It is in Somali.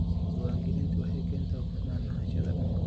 Diiwaangelintu waxay keentaa hufnaan lahaanshaha dhulka.